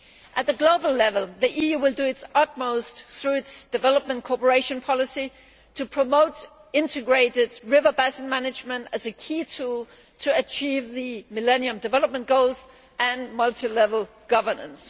At global level, the EU will do its utmost through its development cooperation policy to promote integrated river basin management as a key tool to achieve the Millennium Development Goals and multi level governance.